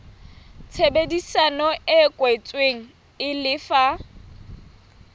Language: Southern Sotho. tshebedisano e kwetsweng e lefa